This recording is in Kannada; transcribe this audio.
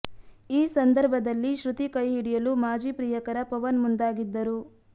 ಈ ಸಂದರ್ಭದಲ್ಲಿ ಶೃತಿ ಕೈ ಹಿಡಿಯಲು ಮಾಜಿ ಪ್ರಿಯಕರ ಪವನ್ ಮುಂದಾಗಿದ್ದರು